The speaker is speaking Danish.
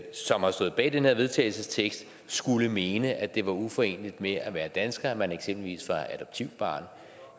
som har stået bag den her vedtagelsestekst skulle mene at det var uforeneligt med at være dansker at man eksempelvis var adoptivbarn